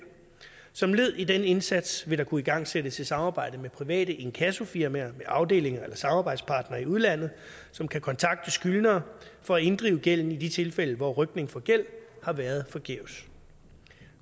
som led i den indsats vil der kunne igangsættes et samarbejde med private inkassofirmaer med afdelinger eller samarbejdspartnere i udlandet som kan kontakte skyldnere for at inddrive gælden i de tilfælde hvor rykning for gæld har været forgæves